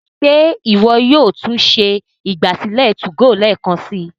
Ṣe iwọ yóò tún ṣe ìgbàsílẹ̀ 2go lẹẹkansi?